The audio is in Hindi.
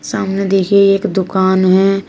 सामने देखिए एक दुकान है।